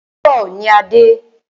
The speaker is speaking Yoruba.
Àárọ̀ ní a dé.